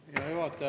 Hea juhataja!